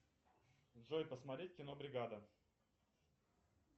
джой посмотреть кино бригада